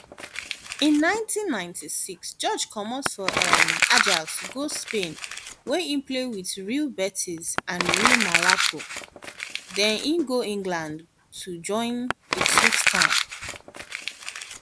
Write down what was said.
in 1996 george comot for um ajax go spain wia e play wit real betis and real mallorca den e go england to join ipswich town